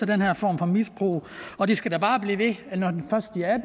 den her form for misbrug og de skal da bare blive ved